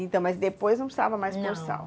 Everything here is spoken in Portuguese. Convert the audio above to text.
Então, mas depois não salva mais por sal? Não.